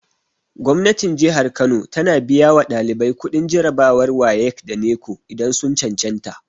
Gwamnatin kano tana biya wa ɗalibai kuɗin jarabawar wayek da neko idan sun cancanta